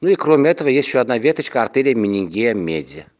ну и кроме этого есть ещё одна веточка артерии менингит меди